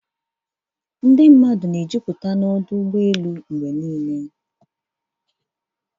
Ọdụ ụgbọ elu na-ejupụta mgbe niile.